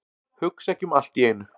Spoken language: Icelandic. Hugsa ekki um allt í einu.